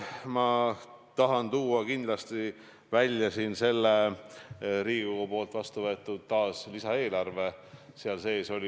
Ma tahan tuua taas kindlasti välja Riigikogus vastuvõetud lisaeelarve.